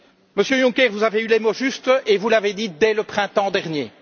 Monsieur Juncker, vous avez eu les mots justes et vous les avez dits dès le printemps dernier.